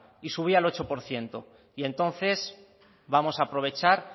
y subía al ocho por ciento y entonces vamos a aprovechar